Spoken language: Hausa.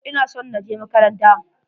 Ina son na je makaranta.